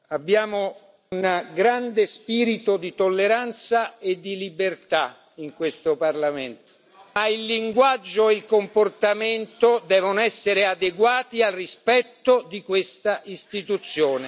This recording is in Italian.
Abbiamo un grande spirito di tolleranza e di libertà in questo Parlamento, ma il linguaggio e il comportamento devono essere adeguati al rispetto di questa Istituzione.